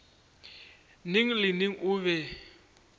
neng le neng o be